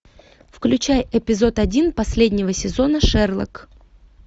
включай эпизод один последнего сезона шерлок